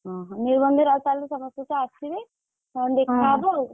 ଓହୋଃ ନିର୍ବନ୍ଧରେ ଆଉ ତାହେଲେ ସମସ୍ତେ ତ ଆସିବେ ହଁ ଦେଖା ହେବ ଆଉ,